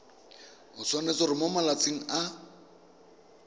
tshwanetse gore mo malatsing a